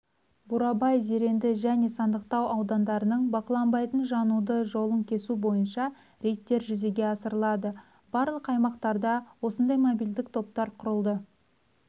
бурабай зеренді және сандықтау аудандарының бақыланбайтын жануды жолын кесу бойынша рейдтер жүзеге асырылады барлық аймақтарда осындай мобильдік топтар құрылды